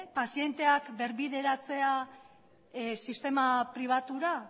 pazienteak berbideratzera sistema pribatura